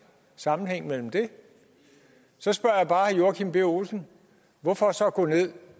sammenhæng mellem det så spørger jeg bare herre joachim b olsen hvorfor så gå ned